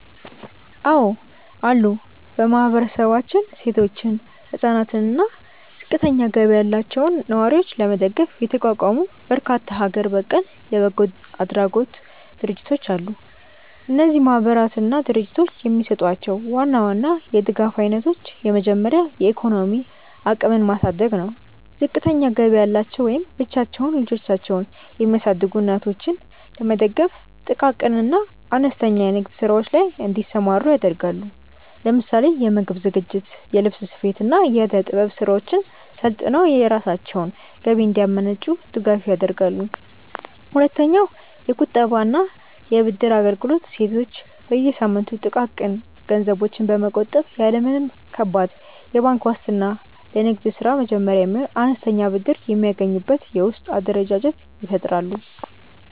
አዎ አሉ። በማህበረሰባችን ሴቶችን፣ ህፃናትን አና እና ዝቅተኛ ገቢ ያላቸውን ነዋሪዎች ለመደገፍ የተቋቋሙ በርካታ ሀገር በቀል የበጎ አድራጎት ድርጅቶች አሉ። እነዚህ ማህበራትና ድርጅቶች የሚሰጧቸውን ዋና ዋና የድጋፍ አይነቶች የመጀመሪያው የኢኮኖሚ አቅምን ማሳደግ ነው። ዝቅተኛ ገቢ ያላቸው ወይም ብቻቸውን ልጆቻቸውን የሚያሳድጉ እናቶችን ለመደገፍ ጥቃቅን እና አነስተኛ የንግድ ስራዎች ላይ እንዲሰማሩ ያደርጋሉ። ለምሳሌ የምግብ ዝግጅት፣ የልብስ ስፌት፣ እና የእደ-ጥበብ ስራዎችን ሰልጥነው የራሳቸውን ገቢ እንዲያመነጩ ድጋፍ ያደርጋሉ። ሁለተኛውየቁጠባ እና የብድር አገልግሎት ሴቶች በየሳምንቱ ጥቃቅን ገንዘቦችን በመቆጠብ፣ ያለ ምንም ከባድ የባንክ ዋስትና ለንግድ ስራ መጀመሪያ የሚሆን አነስተኛ ብድር የሚያገኙበትን የውስጥ አደረጃጀት ይፈጥራሉ።